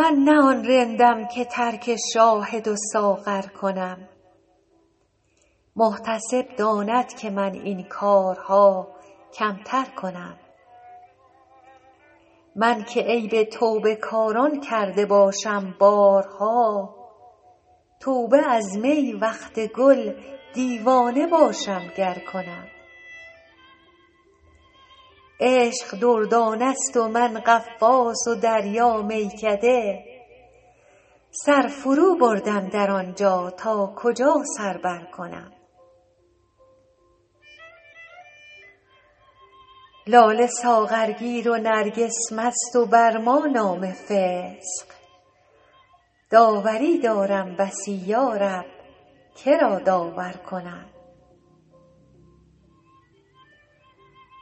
من نه آن رندم که ترک شاهد و ساغر کنم محتسب داند که من این کارها کمتر کنم من که عیب توبه کاران کرده باشم بارها توبه از می وقت گل دیوانه باشم گر کنم عشق دردانه ست و من غواص و دریا میکده سر فروبردم در آن جا تا کجا سر برکنم لاله ساغرگیر و نرگس مست و بر ما نام فسق داوری دارم بسی یا رب که را داور کنم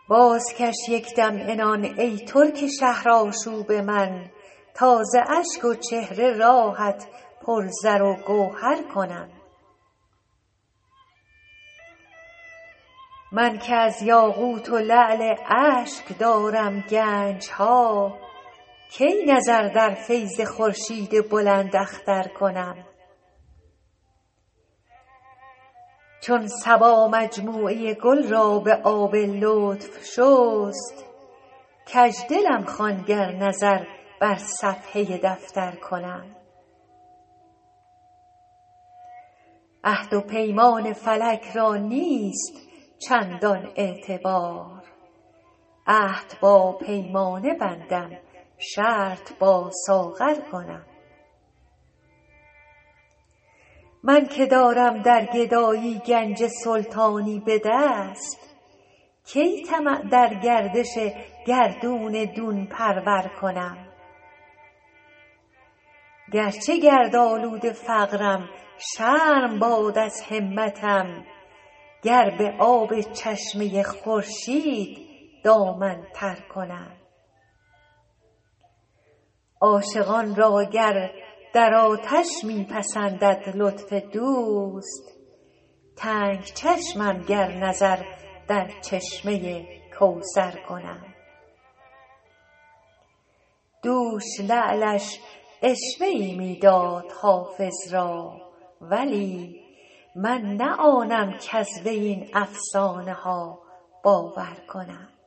بازکش یک دم عنان ای ترک شهرآشوب من تا ز اشک و چهره راهت پر زر و گوهر کنم من که از یاقوت و لعل اشک دارم گنج ها کی نظر در فیض خورشید بلنداختر کنم چون صبا مجموعه گل را به آب لطف شست کج دلم خوان گر نظر بر صفحه دفتر کنم عهد و پیمان فلک را نیست چندان اعتبار عهد با پیمانه بندم شرط با ساغر کنم من که دارم در گدایی گنج سلطانی به دست کی طمع در گردش گردون دون پرور کنم گر چه گردآلود فقرم شرم باد از همتم گر به آب چشمه خورشید دامن تر کنم عاشقان را گر در آتش می پسندد لطف دوست تنگ چشمم گر نظر در چشمه کوثر کنم دوش لعلش عشوه ای می داد حافظ را ولی من نه آنم کز وی این افسانه ها باور کنم